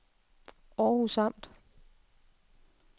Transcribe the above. Århus Amt